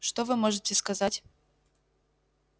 что вы можете сказать